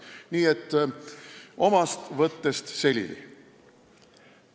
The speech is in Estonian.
Nii et omast võttest selili!